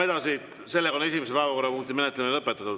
Esimese päevakorrapunkti menetlemine on lõpetatud.